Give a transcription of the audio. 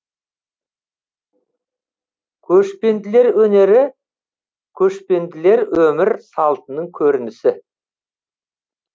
көшпенділер өнері көшпенділер өмір салтының көрінісі